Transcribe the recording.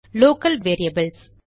local variables